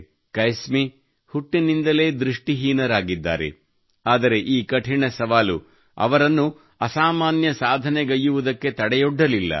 ಕೈಸ್ಮಿ ಹುಟ್ಟಿನಿಂದಲೇ ದೃಷ್ಟಿಹೀನರಾಗಿದ್ದಾರೆ ಆದರೆ ಈ ಕಠಿಣ ಸವಾಲು ಅವರನ್ನು ಅಸಾಮಾನ್ಯ ಸಾಧನೆಗೈಯ್ಯುವುದಕ್ಕೆ ತಡೆಯೊಡ್ಡಲಿಲ್ಲ